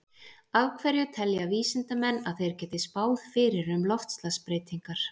Af hverju telja vísindamenn að þeir geti spáð fyrir um loftslagsbreytingar?